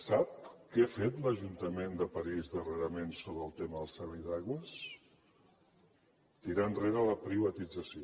sap què ha fet l’ajuntament de parís darrerament sobre el tema del servei d’aigües tirar enrere la privatització